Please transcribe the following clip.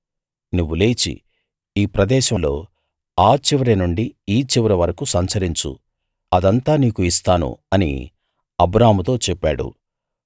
నువ్వు లేచి ఈ ప్రదేశంలో ఆ చివరినుండి ఈ చివరి వరకూ సంచరించు అదంతా నీకు ఇస్తాను అని అబ్రాముతో చెప్పాడు